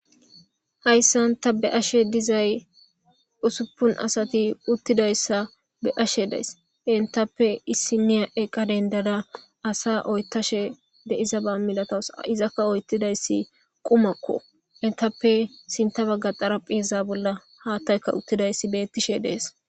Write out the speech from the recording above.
hayssan ta be ashe dizay usuppun asati uttidayssa be ashe days entappe issi miya eqa dendada asa oytashe deiza ba milatas izakka oyttidayssi qumakko entappe sinta bagga xarapheza bolla haattayka uttidayssi bettishe dees